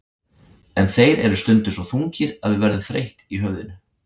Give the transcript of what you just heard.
En þeir eru stundum svo þungir að við verðum þreytt í höfðinu.